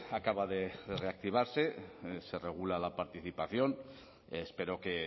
acaba de reactivarse se regula la participación espero que